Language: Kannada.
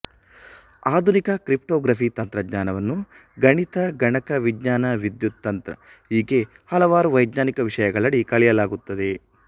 ಆಧುನಿಕ ಕ್ರಿಪ್ಟೋಗ್ರಫಿ ತಂತ್ರಜ್ಞಾನವನ್ನು ಗಣಿತ ಗಣಕ ವಿಜ್ಞಾನ ವಿದ್ಯುತ್ ತಂತ್ರ ಹೀಗೆ ಹಲವಾರು ವೈಜ್ಞಾನಿಕ ವಿಷಯಗಳಡಿ ಕಲಿಯಲಾಗುತ್ತಿದೆ